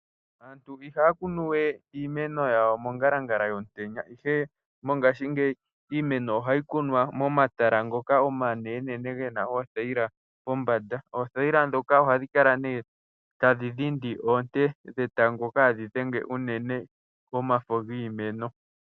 Aantu iha ya kunu we iimeno yawo mongalangala yomutenya ihe mongaashingeyi iimeno oha yi kunwa momatala ngoka omanenenene ge na oothayila pombanda. Oothayila ndhoka oha dhi kala ne ta dhi dhindi oonte dhetango kaadhi dhenge unene komafo giimeno.